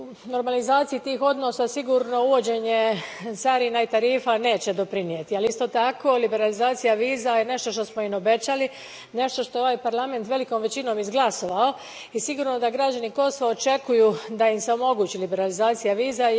Normalizaciji tih odnosa uvođenje carina i tarifa sigurno neće doprinijeti, ali, isto tako, liberalizacija viza je nešto što smo im obećali, nešto što je ovaj Parlament velikom većinom izglasovao i sigurno da građani Kosova očekuju da im se omogući liberalizacija viza.